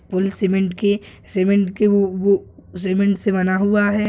Pool cement के cement के वो वो सीमेंट से बना हुआ है।